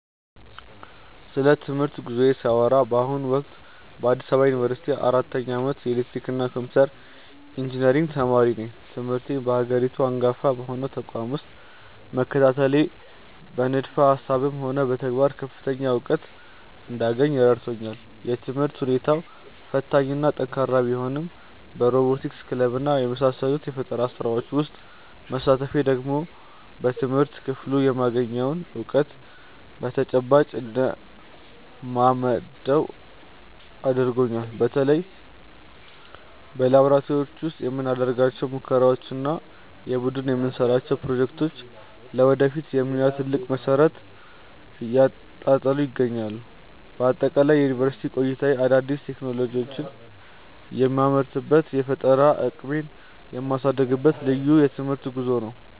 ስለ ትምህርት ጉዞዬ ሳወራ በአሁኑ ወቅት በአዲስ አበባ ዩኒቨርሲቲ በአራተኛ ዓመት የኤሌክትሪካልና ኮምፒውተር ኢንጂነሪንግ ተማሪ ነኝ። ትምህርቴን በሀገሪቱ አንጋፋ በሆነው ተቋም ውስጥ መከታተሌ በንድፈ ሃሳብም ሆነ በተግባር ከፍተኛ እውቀት እንዳገኝ ረድቶኛል። የትምህርት ሁኔታው ፈታኝና ጠንካራ ቢሆንም በሮቦቲክስ ክለብና በመሳሰሉት የፈጠራ ስራዎች ውስጥ መሳተፌ ደግሞ በትምህርት ክፍሉ የማገኘውን እውቀት በተጨባጭ እንድለማመደው አድርጎኛል። በተለይ በላብራቶሪዎች ውስጥ የምናደርጋቸው ሙከራዎችና የቡድን የምንሰራቸው ፕሮጀክቶች ለወደፊት የሙያ ትልቅ መሰረት እየጣሉልኝ ይገኛሉ። በአጠቃላይ የዩኒቨርሲቲ ቆይታዬ አዳዲስ ቴክኖሎጂዎችን የምመረምርበትና የፈጠራ አቅሜን የማሳድግበት ልዩ የትምህርት ጉዞ ነው።